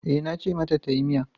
E, nace mata tayi miya.